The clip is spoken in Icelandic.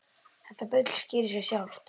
Þetta bull skýrir sig sjálft.